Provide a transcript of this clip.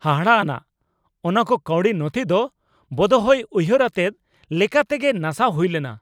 ᱦᱟᱦᱟᱲᱟ ᱟᱱᱟᱜ ! ᱚᱱᱟ ᱠᱚ ᱠᱟᱹᱣᱰᱤ ᱱᱚᱛᱷᱤ ᱫᱚ ᱵᱚᱫᱦᱚᱭ ᱩᱭᱦᱟᱹᱨ ᱟᱛᱮᱫ ᱞᱮᱠᱟ ᱛᱮᱜᱮ ᱱᱟᱥᱟᱣ ᱦᱩᱭ ᱞᱮᱱᱟ !